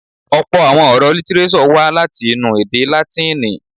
Ọ̀̀pọ̀ àwọn ọ̀rọ̀ lítírésọ̀ wá láti inú èdè Látìnì.